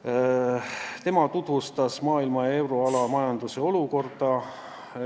Ardo Hansson tutvustas maailma ja euroala majanduse olukorda.